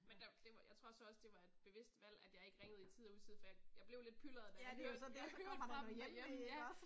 Men der det jeg tror så også det var et bevidst valg at jeg ikke ringede i tide og utide for jeg jeg blev lidt pylret da jeg hørte jeg hørte fra dem derhjemme ja